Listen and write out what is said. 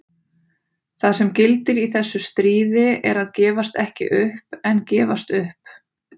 Það sem gildir í þessu stríði er að gefast ekki upp en gefast upp.